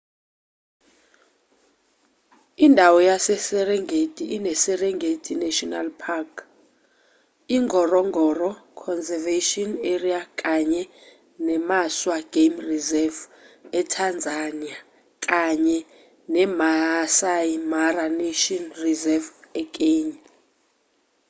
indawo yaseserengeti ineserengeti national park ingorongoro conservation area kanye nemaswa game reserve etanzania kanye nemaasai mara national reserve ekenya